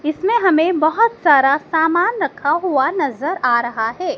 इसमें हमें बहुत सारा सामान रखा हुआ नजर आ रहा है।